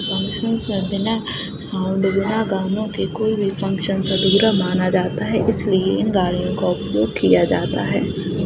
Functions बिना गानों के कोई भी फंकशनस अधूरा माना जाता है इसलिए इन गानों का उपयोग किया जाता है।